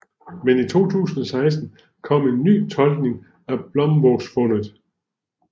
Men i 2016 kom en ny tolkning af Blomvågfundet